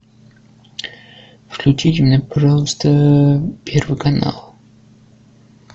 включите мне пожалуйста первый канал